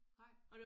Nej